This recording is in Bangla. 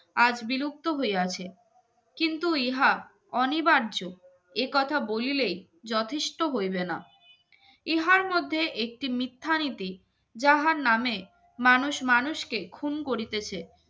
আজ বিলুপ্ত হইয়াছে কিন্তু ইহা অনিবার্য একথা বলিলেই যথেষ্ট হইবে না ইহার মধ্যে একটি মিথ্যা নীতি যাহার নাম মানুষ মানুষকে খুন করিতেছে